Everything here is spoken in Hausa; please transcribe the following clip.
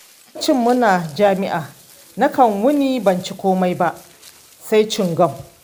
Lokacin muna jami'a, nakan wuni ban ci komai ba sai cingam